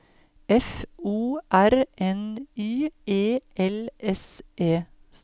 F O R N Y E L S E